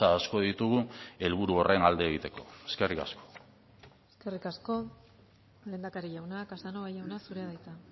asko ditugu helburu horren alde egiteko eskerrik asko eskerrik asko lehendakari jauna casanova jauna zurea da hitza